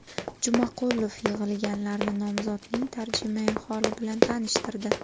Jumaqulov yig‘ilganlarni nomzodning tarjimai holi bilan tanishtirdi.